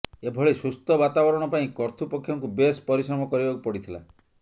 ଏଭଳି ସୁସ୍ଥ ବାତାବରଣ ପାଇଁ କର୍ତ୍ତୃପକ୍ଷଙ୍କୁ ବେଶ୍ ପରିଶ୍ରମ କରିବାକୁ ପଡ଼ିଥିଲା